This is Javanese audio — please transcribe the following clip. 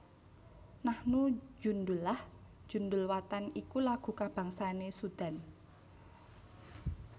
Nahnu Djundullah Djndulwatan iku lagu kabangsané Sudan